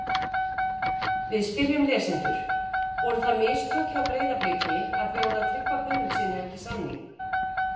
Við spyrjum lesendur: Voru það mistök hjá Breiðabliki að bjóða Tryggva Guðmundssyni ekki samning?